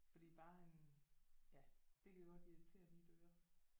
Fordi bare en ja det kan godt irritere mit øre